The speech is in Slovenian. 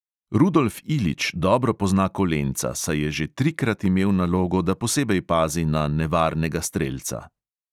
Rudolf ilić dobro pozna kolenca, saj je že trikrat imel nalogo, da posebej pazi na nevarnega strelca.